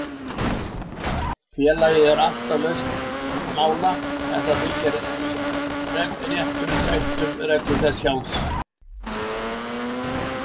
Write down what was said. Félagið er alltaf laust mála ef það fylgir réttum reglum þess sjálfs.